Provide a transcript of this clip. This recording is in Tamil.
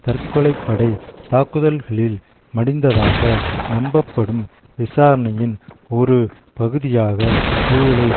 தற்கொலை படை தாக்குதல்களில் மடிந்ததாக நம்பப்படும் விசாரணையின் ஒரு பகுதியாக ஜூலை